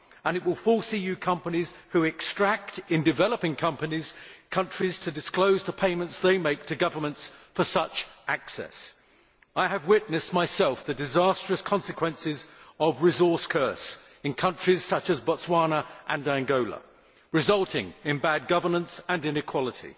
It will force EU companies who extract in developing countries to disclose the payments they make to governments for such access. I have witnessed myself the disastrous consequences of resource curse, in countries such as Botswana and Angola, resulting in bad governance and inequality.